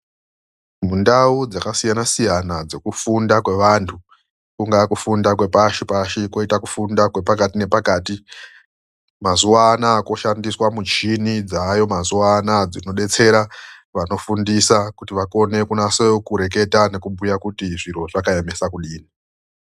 Mundau dzakasiyana-siyana dzokufunda kwe vantu kungawa kufunda kwepashi-pashi koita kufunda kwepakati nepakati, mazuva anaya koshandiswa mishini dzayo mazuwa anaya .Dzinobetsera vanofundisa kuti vakone kunyatso reketa nokubhuya kuti zviro zvakayemesa kudii.